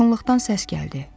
Yaxınlıqdan səs gəldi.